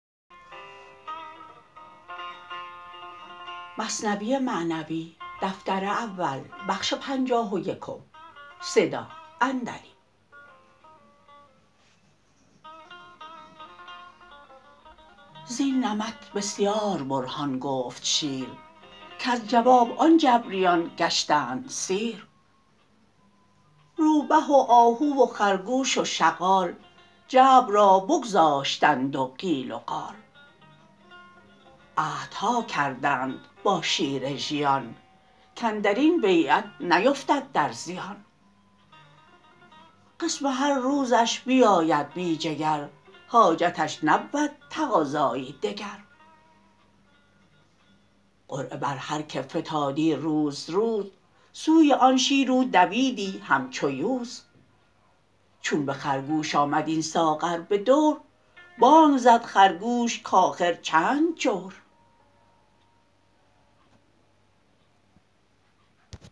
زین نمط بسیار برهان گفت شیر کز جواب آن جبریان گشتند سیر روبه و آهو و خرگوش و شغال جبر را بگذاشتند و قیل و قال عهدها کردند با شیر ژیان کاندرین بیعت نیفتد در زیان قسم هر روزش بیاید بی جگر حاجتش نبود تقاضایی دگر قرعه بر هر که فتادی روز روز سوی آن شیر او دویدی همچو یوز چون به خرگوش آمد این ساغر بدور بانگ زد خرگوش کاخر چند جور